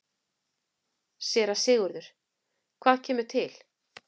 SÉRA SIGURÐUR: Hvað kemur til?